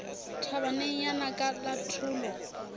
thabaneng ya naka la tholo